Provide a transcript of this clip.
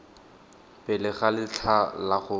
pele ga letlha la go